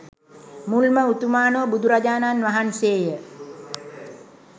මුල්ම උතුමාණෝ බුදුරජාණන් වහන්සේ ය.